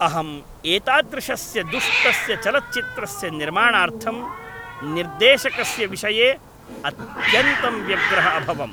अहं एतादृशस्य दुष्टस्य चलच्चित्रस्य निर्माणार्थं निर्देशकस्य विषये अत्यन्तं व्यग्रः अभवम् ।